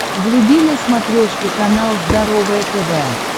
вруби на смотрешке канал здоровое тв